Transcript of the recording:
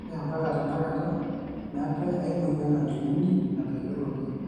ore empaka tenakata meetae ae moyian najunguni natayioloki